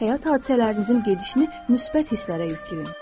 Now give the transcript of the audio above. Həyat hadisələrinizin gedişini müsbət hisslərə yükləyin.